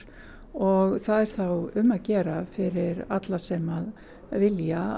og það er þá um að gera fyrir alla sem að vilja